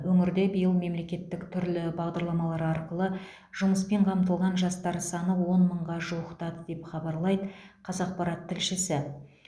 өңірде биыл мемлекеттік түрлі бағдарламалар арқылы жұмыспен қамтылған жастар саны он мыңға жуықтады деп хабарлайды қазақпарат тілшісі